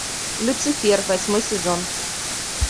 люцифер восьмой сезон